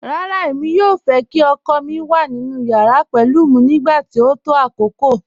Rárá, èmi yòò fẹ́ kí ọkọ mi wà nínu yàrà pẹ̀lú mi nígbàtí o tó àkókò